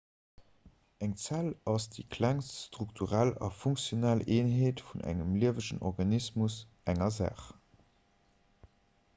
eng zell ass déi klengst strukturell a funktionell eenheet vun engem liewegen organismus/enger saach